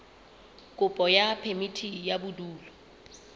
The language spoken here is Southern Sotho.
kopo ya phemiti ya bodulo